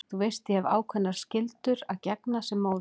Þú veist að ég hef ákveðnum skyldum að gegna sem móðir.